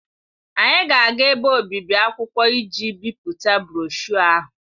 Anyị ga-aga ebe obibi akwụkwọ iji bipụta broshuọ ahụ.